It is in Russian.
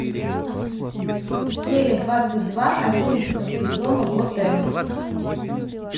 серия двадцать два одиннадцатого сезона готэм